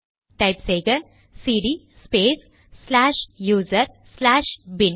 type செய்க cd space slash user slash bin